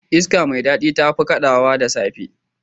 Iska mai dadi tafi kadawa da safe.